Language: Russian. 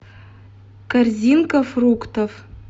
корзинка фруктов